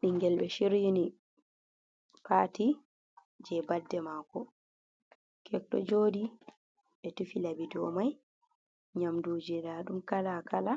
Bingel be shiryini pati je badde mako, kek do joɗi ɓe tufi laɓi domai, nyamduji nda dum kalakala,